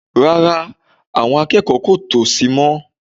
Rárá, àwọn akẹ́kọ̀ọ́ kò tò sì mọ́